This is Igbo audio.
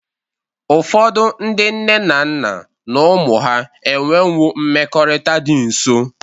Ụfọdụ ndị nne na nna na ụmụ ha enwewo mmekọrịta dị nsọ.